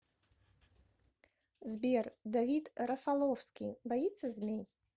сбер давид рафаловский боится змей